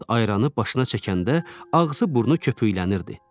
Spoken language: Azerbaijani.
Murad ayranı başına çəkəndə ağzı, burnu köpüklənirdi.